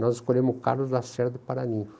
Nós escolhemos o Carlos Lacerda Paraninfo.